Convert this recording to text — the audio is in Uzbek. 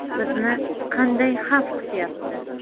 Bizni qanday xavf kutyapti?